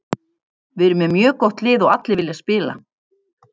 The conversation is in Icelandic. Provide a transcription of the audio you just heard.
Við erum með mjög gott lið og allir vilja spila.